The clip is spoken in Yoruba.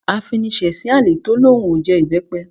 Afiniṣẹ̀sín àlè tó lóun ó jẹ ìbẹ́pẹ